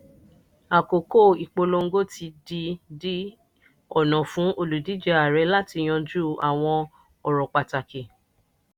àkókò ìpolongo ti di di ọ̀nà fún olùdíje ààrẹ láti yanjú àwọn ọ̀rọ̀ pàtàkì.